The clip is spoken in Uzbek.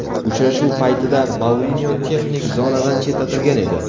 Uchrashuv paytida Mourinyo texnik zonadan chetlatilgan edi .